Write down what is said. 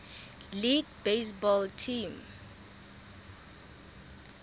league baseball team